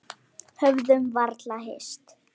Höfðum varla hist.